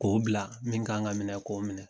K'o bila min kan ka minɛ k'o minɛ